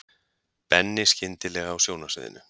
Benni skyndilega á sjónarsviðinu.